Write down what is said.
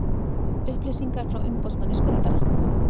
Upplýsingar frá umboðsmanni skuldara